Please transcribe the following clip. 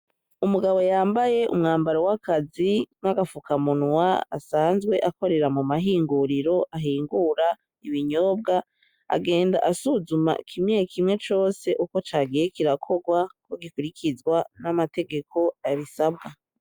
Umugabo yambaye umwambaro w'akazi n'agafukamunwa asanzwe akorera mu mahinguriro ahingura ibinyobwa agenda asuzuma kimwe kimwe cose uko cagiye kirakorwa ko gikirikizwa n'amategeko abisabwa.